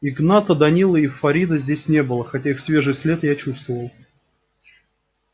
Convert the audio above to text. игната данилы и фарида здесь не было хотя их свежий след я чувствовал